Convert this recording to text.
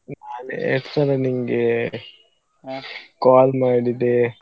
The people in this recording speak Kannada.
ಎಷ್ಟ್ ಸಲ ನಿಂಗೆ call ಮಾಡಿದ್ದೆ.